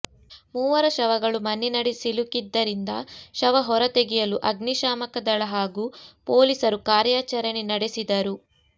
ಮೂವರ ಶವಗಳು ಮಣ್ಣಿನಡಿ ಸಿಲುಕಿದ್ದರಿಂದ ಶವ ಹೊರ ತೆಗೆಯಲು ಅಗ್ನಿಶಾಮಕ ದಳ ಹಾಗೂ ಪೊಲೀಸರು ಕಾರ್ಯಾಚರಣೆ ನಡೆಸಿದರು